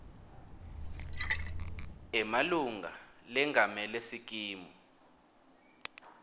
emalunga lengamele sikimu